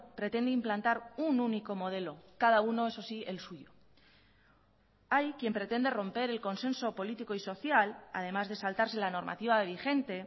pretende implantar un único modelo cada uno eso sí el suyo hay quien pretende romper el consenso político y social además de saltarse la normativa vigente